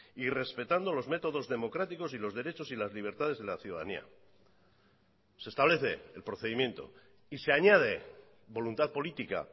y respetando los métodos democráticos y los derechos y las libertades de la ciudadanía se establece el procedimiento y se añade voluntad política